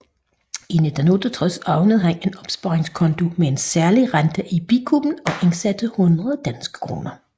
I 1968 åbnede han en opsparingskonto med en særlig rente i Bikuben og indsatte 100 danske kroner